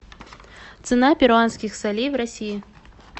цена перуанских солей в россии